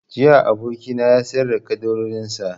Jiya abokina ya sayar da ƙaddarorin sa